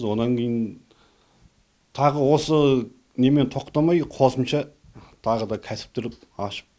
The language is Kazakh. онан кейін тағы осы немен тоқтамай қосымша тағы да кәсіптер ашып